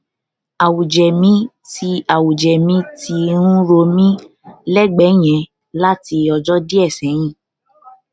awuje mi ti awuje mi ti n ro mi lẹgbẹ yen lati ọjọ die seyin